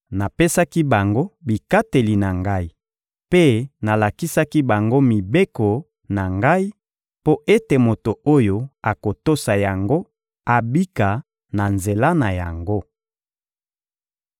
Napesaki bango bikateli na Ngai mpe nalakisaki bango mibeko na Ngai mpo ete moto oyo akotosa yango abika na nzela na yango.